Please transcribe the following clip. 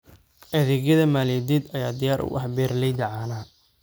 Adeegyada maaliyadeed ayaa diyaar u ah beeralayda caanaha.